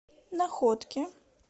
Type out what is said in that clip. находке